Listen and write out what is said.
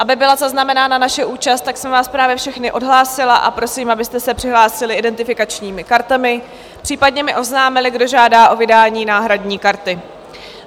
Aby byla zaznamenána naše účast, tak jsem vás právě všechny odhlásila a prosím, abyste se přihlásili identifikačními kartami, případně mi oznámili, kdo žádá o vydání náhradní karty.